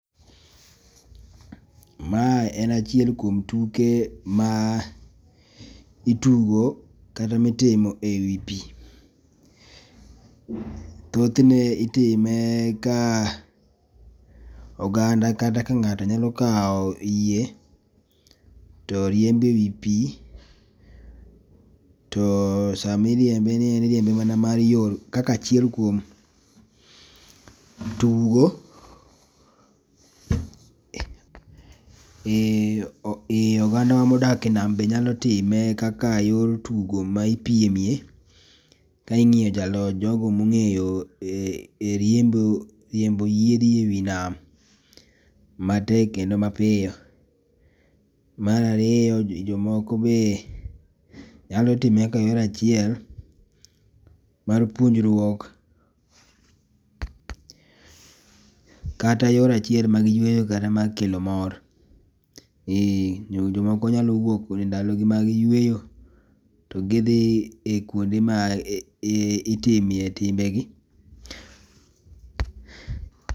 Ma en achiel kuom tuke ma itugo kata mi itimo e wi pi thothne nitime ka oganda kata ka ng'ato nyalo kawo yie to iriembo e wi pi, to saa ma iriembe ni en iriembe mana kaka achiel kuom tugo , ee oganda wa ma odak e nam be nyalo time kaka e yor tugo ma ipiem e, ka ing'iyo jalo jo go ma ong'eyo riembo yiedhi e wi nam matek kendo ma piyo. Mar ariyo jo moko ne nyalo time e yor achiel mar puonjruok kata yor achiel mar yueyo mar kelo mor. Ee jo moko nyalo wuok e ndalo gi mag yueyo to gi dhi kuma itimie timbe gi.